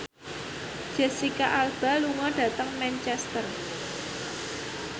Jesicca Alba lunga dhateng Manchester